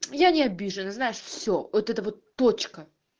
я не обижена знаешь все вот это вот точка